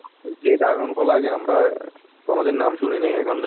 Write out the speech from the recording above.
যে dragon ফল আগে আমরা কোনো দিন নাম শুনি নাই এখন